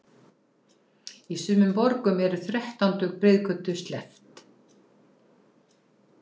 Í sumum borgum er þrettándu breiðgötu sleppt.